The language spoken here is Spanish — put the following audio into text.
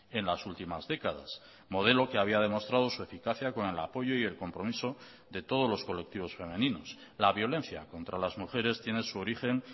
en las últimas décadas modelo que había demostrado su eficacia con el apoyo y el compromiso de todos los colectivos femeninos la violencia contra las mujeres tiene su origen